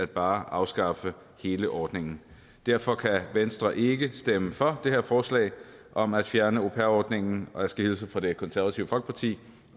bare at afskaffe hele ordningen derfor kan venstre ikke stemme for det her forslag om at fjerne au pair ordningen og jeg skal hilse fra det konservative folkeparti